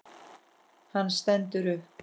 Hann stendur upp.